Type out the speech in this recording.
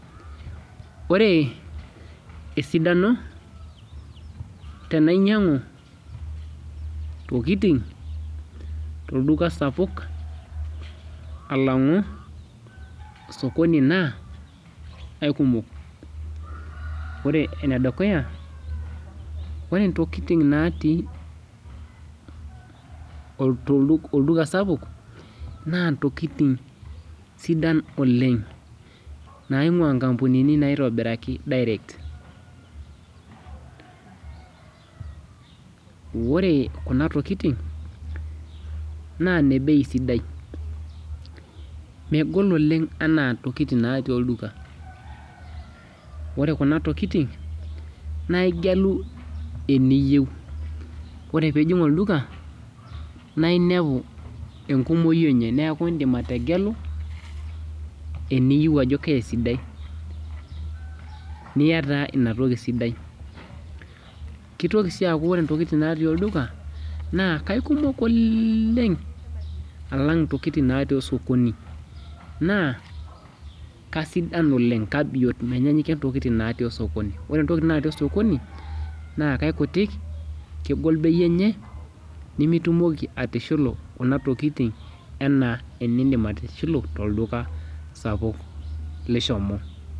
Ore esidano tenainyangu ntokitin tolduka sapuk alangu osokoni na aikumok ore enedukuya na ore ntokitin natii olduka sapuk na ntokitin sidain oleng naingua nkampunini naitobiraki direct ore kunatokitin na nebei sidia megol Oleng ana ntokitin natii olduka ore kuna tokitin na igelu eniyieu ore pijing olduka na inepu enkumoi enye na indim ategelu eniyeu ajobkaa esidai niya na inatoki sidai kitoki si aaku ore ntokitin natii olduka na kekumok oleng alang ntokitin natii osokoni na kasidan oleng na kabiot oleng ore ntokitin natii osokoni na kakutik kegol bei enye nimitumoki atishulu kuna tokitin ana enindim atishilu tolduka sapuk lishomo.